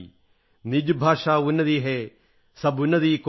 നിജ് ഭാഷാ ഉന്നതി അഹൈ സബ് ഉന്നതി കോ മൂൽ